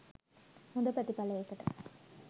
හොඳ ප්‍රතිඵලයකට